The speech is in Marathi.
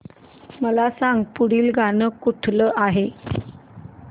मला सांग पुढील गाणं कुठलं आहे